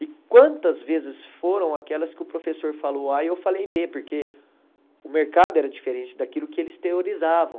E quantas vezes foram aquelas que o professor falou á e eu falei bê, porque o mercado era diferente daquilo que eles teorizavam.